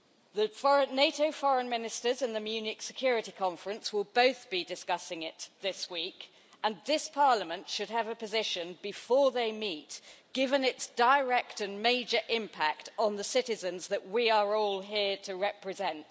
The NATO foreign ministers in the Munich Security Conference will be discussing it this week and this Parliament should have a position before they meet given its direct and major impact on the citizens that we are all here to represent.